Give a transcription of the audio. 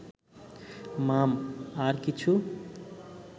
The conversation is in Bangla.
মাম... আর কিছু